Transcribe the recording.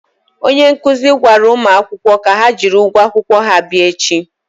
onye nkụzi gwara ụmụakwụkwọ ka ha jiri ụgwọ akwụkwọ ha bịa echi.